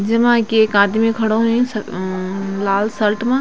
जमा कि एक आदमी खडो हुंयू स म-म लाल शल्ट मा।